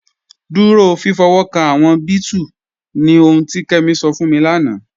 Dúró fífọ̀wọ́kàn awọn bẹẹtù ni ohùn ti Kemi sọ̀ fún mi lánà.